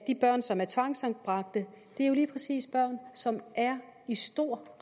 de børn som er tvangsanbragt det er lige præcis børn som er i stor